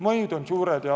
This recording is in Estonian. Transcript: Mõjud on suured.